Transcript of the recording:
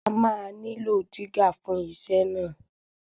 A máa nílò dígà fún iṣẹ́ náà.